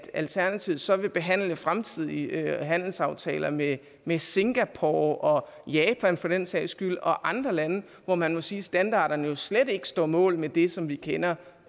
alternativet så vil behandle fremtidige handelsaftaler med med singapore og japan for den sags skyld og andre lande hvor man må sige at standarderne slet ikke står mål med det som vi kender